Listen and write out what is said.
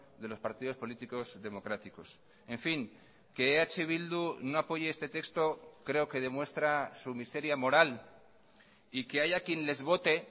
de los partidos políticos democráticos en fin que eh bildu no apoye este texto creo que demuestra su miseria moral y que haya quien les vote